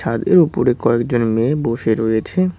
আর এর উপরে কয়েকজন মেয়ে বসে রয়েছে।